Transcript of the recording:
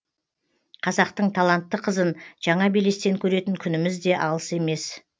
қазақтың талантты қызын жаңа белестен көретін күніміз де алыс емес